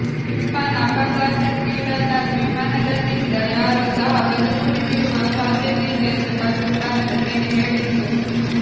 ವಿಮಾನ ಅಪಘಾತಕ್ಕೀಡಾದಾಗ ವಿಮಾನದಲ್ಲಿದ್ದ ಯಾರೂ ಸಹ ಬದುಕುಳಿದಿರುವ ಸಾಧ್ಯಯಿಲ್ಲ ಎಂದು ಪಾಕಿಸ್ತಾನದ ಸೇನೆ ಹೇಳಿತ್ತು